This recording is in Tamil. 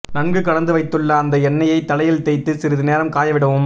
நன்கு கலந்து வைத்துள்ள அந்த எண்ணெய்யை தலையில் தேய்த்து சிறிது நேரம் காய விடவும்